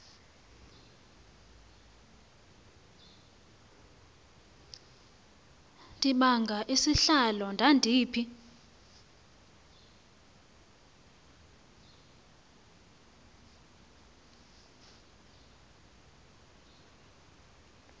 ndibanga isihlalo ndandiphi